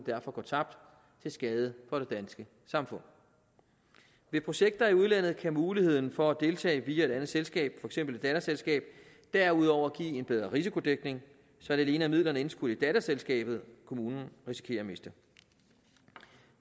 derfor tabt til skade for det danske samfund ved projekter i udlandet kan muligheden for at deltage via et andet selskab for eksempel et datterselskab derudover give en bedre risikodækning så det alene er midlerne indskudt i datterselskaberne kommunen risikerer at miste